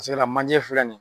manje filɛ nin